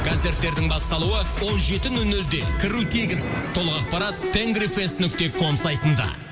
концерттердің басталуы он жеті нөл нөлде кіру тегін толық ақпарат нүкте ком сайтында